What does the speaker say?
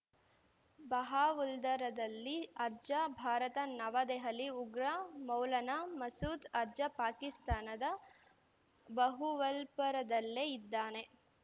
ಬಹಾವುಲ್ದರದಲ್ಲಿ ಅರ್ಜ ಭಾರತ ನವದೆಹಲಿ ಉಗ್ರ ಮೌಲಾನಾ ಮಸೂದ್‌ ಅರ್ಜ ಪಾಕಿಸ್ತಾನದ ಬಹುವಲ್ಪುರದಲ್ಲೇ ಇದ್ದಾನೆ